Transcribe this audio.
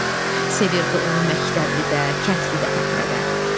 Sevirdi onu məktəblidə, kəndlidə fəhlədə.